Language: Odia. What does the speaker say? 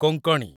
କୋଙ୍କଣୀ